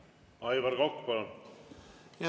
Aivar Kokk, palun!